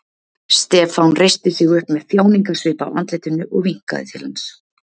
Stefán reisti sig upp með þjáningasvip á andlitinu og vinkaði til hans.